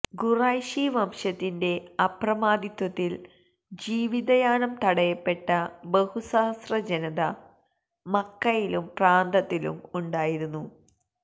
ഖുറൈശി വംശത്തിന്റെ അപ്രമാദിത്വത്തില് ജീവിതയാനം തടയപ്പെട്ട ബഹു സഹസ്ര ജനത മക്കയിലും പ്രാന്തത്തിലും ഉണ്ടായിരുന്നു